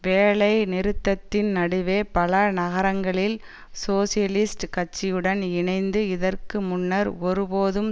வேலைநிறுத்தத்தின் நடுவே பல நகரங்களில் சோசியலிஸ்ட் கட்சியுடன் இணைந்து இதற்கு முன்னர் ஒருபோதும்